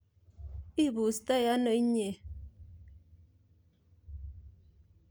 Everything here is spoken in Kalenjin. Ibustoe ano inye?